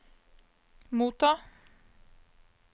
motta